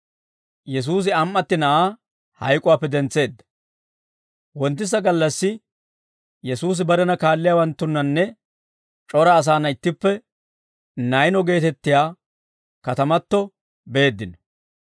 Wonttisa gallassi Yesuusi barena kaalliyaawanttunnanne c'ora asaana ittippe Nayno geetettiyaa katamato beeddino.